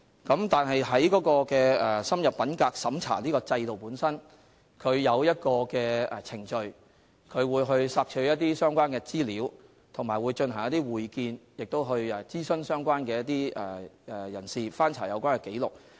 不過，深入審查制度下設有程序，包括索取相關資料、進行會見、諮詢相關人士及翻查有關紀錄。